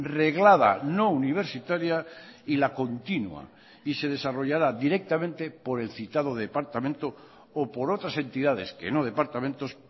reglada no universitaria y la continua y se desarrollará directamente por el citado departamento o por otras entidades que no departamentos